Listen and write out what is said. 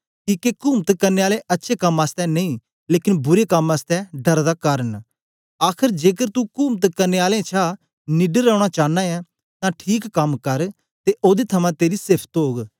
किके कुमत करने आले अच्छे कम आसतै नेई लेकन बुरे कम आसतै डर दा कारन न आखर जेकर तू कुमत करने आलें छा निडर रौना चानां ऐ तां ठीक कम कर ते ओदे थमां तेरी सेफ्त्त ओग